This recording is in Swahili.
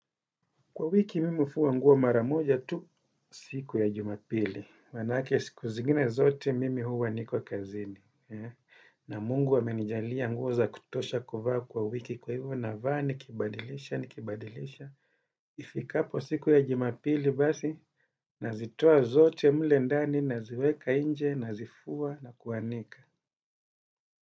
Kwa wiki mimi hufua nguo mara moja tu siku ya jumapili, maana yake siku zingine zote mimi huwa niko kazini, na Mungu amenijalia nguo za kutosha kuvaa kwa wiki kwa hivyo navaa nikibadilisha, nikibadilisha, ifikapo siku ya jumapili basi, nazitoa zote mule ndani naziweka nje nazifua na kuanika.